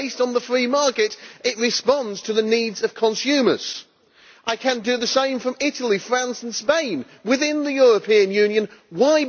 it is based on the free market it responds to the needs of consumers. I can do the same from Italy, France and Spain, within the European Union.